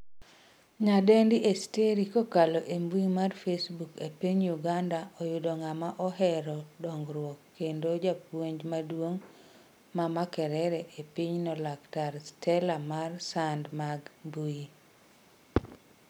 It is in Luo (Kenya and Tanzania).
Nyadendi Esteri kokalo e mbui mar facebook e piny Uganda oyudo ng'ama ohero dongruok kendo japuonj maduong' ma Makerere e pinyno laktar Stella mar sand mag mbui.